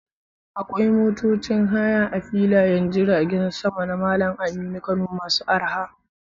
Akwai motocin haya a filayen jiragen sama na Malam Aminu Kano masu arha.